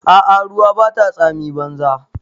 A'a ruwa Bata tsami banza.